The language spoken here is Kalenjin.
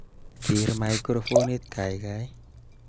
Ker microfonit kaikai